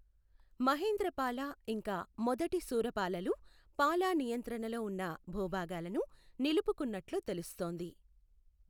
మహేంద్రపాల ఇంకా మొదటి శూరపాలలు పాలా నియంత్రణలో ఉన్న భూభాగాలను నిలుపుకున్నట్లు తెలుస్తోంది.